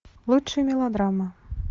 лучшие мелодрамы